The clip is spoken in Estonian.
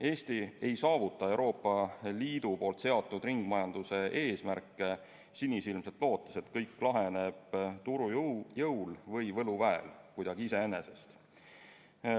Eesti ei saavuta Euroopa Liidu seatud ringmajanduse eesmärke sinisilmselt lootes, et kõik laheneb turu jõul või võluväel kuidagi iseenesest.